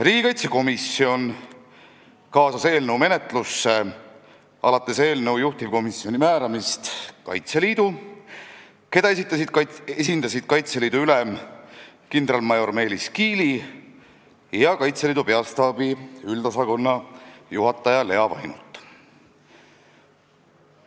Riigikaitsekomisjon kaasas eelnõu menetlusse alates eelnõu juhtivkomisjoni määramisest Kaitseliidu, keda esindasid Kaitseliidu ülem kindralmajor Meelis Kiili ja Kaitseliidu Peastaabi üldosakonna juhataja Lea Vainult.